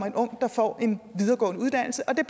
en ung der får en videregående uddannelse og det